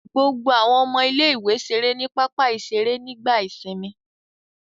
Gbogbo àwọn ọmọ ilé-ìwé ṣeré ní pápá-ìṣeré nígbà ìsìnmi.